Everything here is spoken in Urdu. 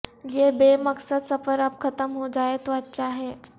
یہ بے مقصد سفر اب ختم ہوجائے تو اچھاہے